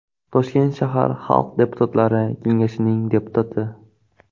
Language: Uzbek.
Toshkent shahar Xalq deputatlari kengashining deputati.